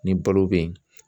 Ni balo be ye